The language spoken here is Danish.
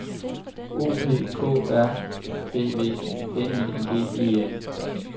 O P K R Æ V N I N G E N